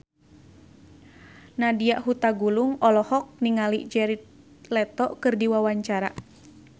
Nadya Hutagalung olohok ningali Jared Leto keur diwawancara